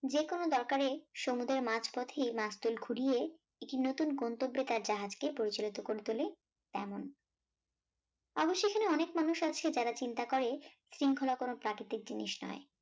যেকোনো দরকারে সমুদ্রের মাঝ পথেই মাসদুল ঘুরিয়ে একটি নুতুন গন্তব্যে তার জাহাজ কে পরিচালিত করে তোলে তেমন অবশ্য এখানে অনেক মানুষ আছে যারা চিন্তা করে শৃঙ্খলা কোন প্রাকৃতিক জিনিস নয়